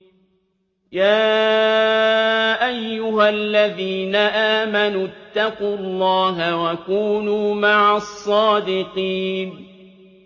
يَا أَيُّهَا الَّذِينَ آمَنُوا اتَّقُوا اللَّهَ وَكُونُوا مَعَ الصَّادِقِينَ